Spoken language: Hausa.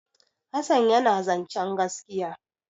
Hassan yana zancen gaskiya.